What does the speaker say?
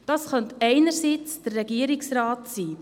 Das könnte einerseits der Regierungsrat sein.